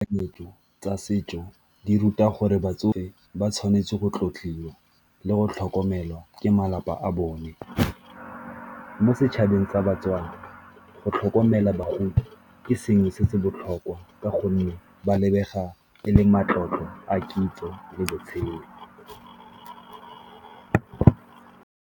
tsa setso di ruta gore batsofe ba tshwanetse go tlotliwa le go tlhokomelwa ke malapa a bone. Mo setšhabeng sa baTswana go tlhokomela bagodi ke sengwe se se botlhokwa ka gonne ba lebega e leng matlotlo a kitso le botshelo.